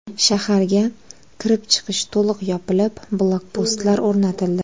Shaharga kirib-chiqish to‘liq yopilib, blokpostlar o‘rnatildi.